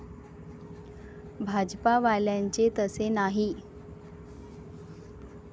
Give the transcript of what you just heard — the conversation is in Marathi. भाजपावाल्यांचे तसे नाही.